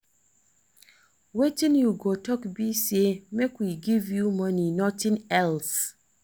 Wetin you go talk be say make we give you money nothing else